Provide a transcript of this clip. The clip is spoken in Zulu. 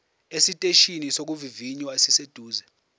esiteshini sokuvivinya esiseduze